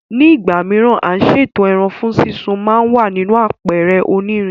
Ní ìgbà mìíràn, à ń ṣètò ẹran fún súnsun ma wà nínú àpẹ̀rẹ̀ onírin